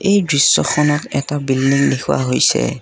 এই দৃশ্যখনত এটা বিল্ডিং দেখুওৱা হৈছে।